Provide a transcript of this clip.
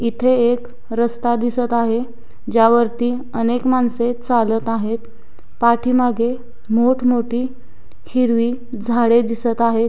इथे एक रस्ता दिसत आहे ज्यावरती अनेक माणसे चालत आहेत पाठीमागे मोठ मोठी हिरवी झाडे दिसत आहेत.